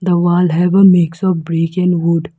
The wall have a mix of brick and wood.